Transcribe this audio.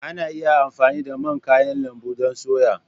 Ana iya amfani da man kayan lambu don soya.